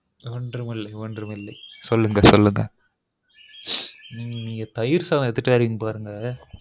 ஒன்றும் ஒன்றும் இல்லை சொல்லுங்க சொல்லுங்க உம் நீங்க தயிர்சாதம் எடுத்துட்டு வாறீங்க பாருங்க